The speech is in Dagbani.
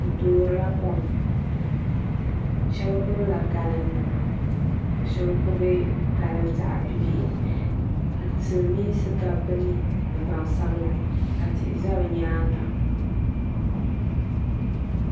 Bɛ toorila kom sheba gbibila galin nima ka sheba gbibi galin zaɣa bibihi ka silimiinsi gabi bɛ ni ni gbansabla tihi za bɛ nyaanga.